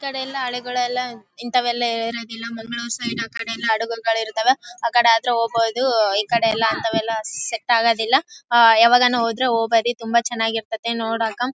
ಈ ಕಡೆ ಎಲ್ಲ ಆಳುಗಳಲ್ಲ ಇಂಥವೆಲ್ಲ ಇರೋದಿಲ್ಲ ಮಂಗಳೂರ್ ಸೈಡ್ ಆಕಡೆ ಎಲ್ಲ ಹಡಗುಗಳಿರ್ತವ ಆಕಡೆ ಆದ್ರೆ ಹೋಗ್ಬಹುದು ಈ ಕಡೆ ಅಂತವು ಎಲ್ಲ ಸೆಟ್ ಆಗೋದಿಲ್ಲ ಯಾವಾಗಾನೂ ಹೋದ್ರೆ ಹೋಗಬೋದು ತುಂಬಾ ಚೆನ್ನಾಗಿ ಇರತೈತಿ ನೋಡಾಕ .